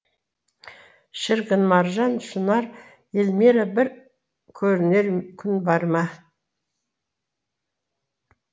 шіркін маржан шынар елмира бір көрінер күн бар ма